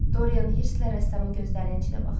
Dorian hirstlə rəssamı gözlərinin içinə baxdı.